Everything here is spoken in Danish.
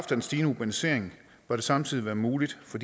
den stigende urbanisering bør det samtidig være muligt for